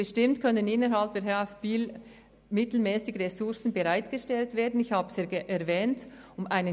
Bestimmt können innerhalb der HF Holz in Biel mittelfristig Ressourcen bereitgestellt werden, wie ich erwähnt habe.